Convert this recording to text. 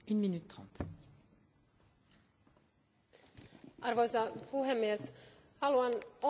Arvoisa puhemies, haluan onnitella komissiota tämän päivän digipaketista.